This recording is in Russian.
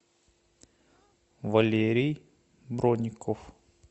валерий броников